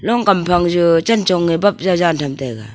long kam phang chu chentong e bap tham taiga.